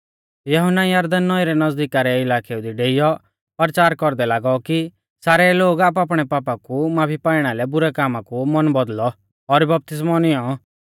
यहुन्ना यरदन नौईं रै नज़दीका रै इलाकेउ दी डेइयौ परचार कौरदै लागौ कि सारै लोग आपणैआपणै पापा कु माफी पाइणा लै बुरै कामा कु मन बौदल़ौ और बपतिस्मौ निऔं